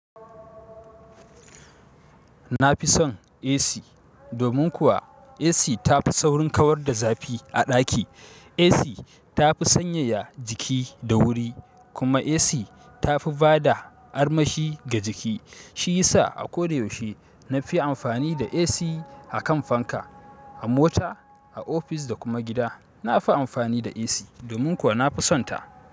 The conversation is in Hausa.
Na fi son AC, domin kuwa AC ta fi saurin kawar da zafi a ɗaki. AC tafi sanyaya jiki da wuri, kuma AC tafi bada armashi ga jiki. Shi ya sa a ko da yaushe na fi amfani da AC a kan fanka, a mota, a ofis da kuma gida. Na fi amfani da AC domin kuwa na fi sonta.